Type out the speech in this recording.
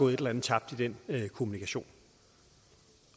et eller andet tabt i den kommunikation